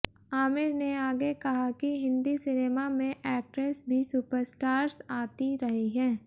आमिर ने आगे कहा कि हिंदी सिनेमा में एक्ट्रेस भी सुपरस्टार्स आती रही हैं